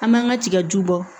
An man ka tigaju bɔ